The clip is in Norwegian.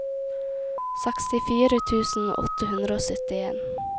sekstifire tusen åtte hundre og syttien